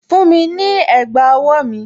Fún mi ní ẹ̀gbà owó mi!